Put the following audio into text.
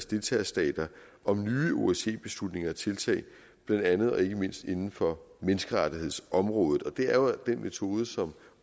deltagerstater om nye osce beslutninger og tiltag blandt andet og ikke mindst inden for menneskerettighedsområdet og det er jo den metode som